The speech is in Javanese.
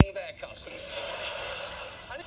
Jamur kuping abrit kalebet taneman ingkang aleman saha sènsitif